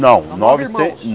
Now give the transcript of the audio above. Não, Nove irmãos. Nove